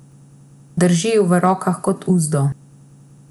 Drži ju v rokah kot uzdo.